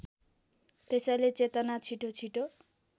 त्यसैले चेतना छिटोछिटो